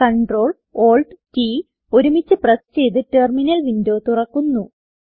Ctrl Alt T ഒരുമിച്ച് press ചെയ്ത് terminal window തുറക്കുന്നു